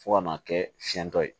Fo ka n'a kɛ fiɲɛ dɔ ye